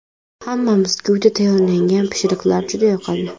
Hammamizga uyda tayyorlangan pishiriqlar juda yoqadi.